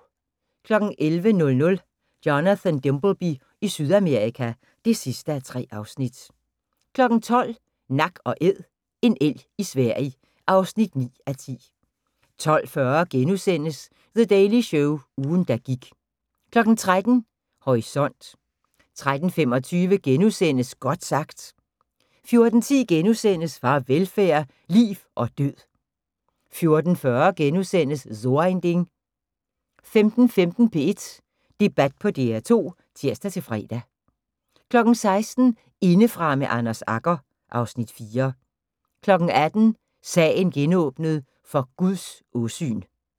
11:00: Jonathan Dimbleby i Sydamerika (3:3) 12:00: Nak & Æd: En elg i Sverige (9:10) 12:40: The Daily Show – ugen der gik * 13:00: Horisont 13:25: Godt sagt * 14:10: Farvelfærd: Liv og Død * 14:40: So ein Ding * 15:15: P1 Debat på DR2 (tir-fre) 16:00: Indefra med Anders Agger (Afs. 4) 18:00: Sagen genåbnet: For Guds åsyn